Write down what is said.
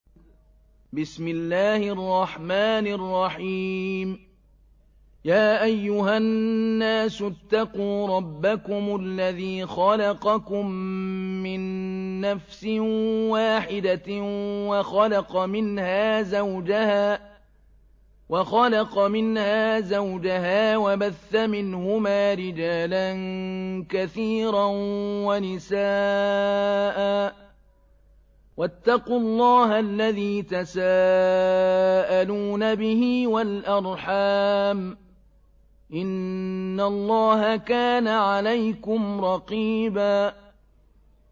يَا أَيُّهَا النَّاسُ اتَّقُوا رَبَّكُمُ الَّذِي خَلَقَكُم مِّن نَّفْسٍ وَاحِدَةٍ وَخَلَقَ مِنْهَا زَوْجَهَا وَبَثَّ مِنْهُمَا رِجَالًا كَثِيرًا وَنِسَاءً ۚ وَاتَّقُوا اللَّهَ الَّذِي تَسَاءَلُونَ بِهِ وَالْأَرْحَامَ ۚ إِنَّ اللَّهَ كَانَ عَلَيْكُمْ رَقِيبًا